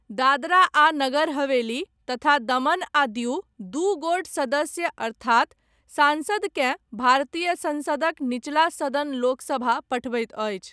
दादरा आ नगर हवेली तथा दमन आ दिउ दू गोट सदस्य अर्थात सांसद केँ भारतीय संसदक निचला सदन लोकसभा पठबैत अछि।